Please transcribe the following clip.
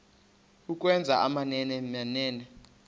ukwenza amamene mene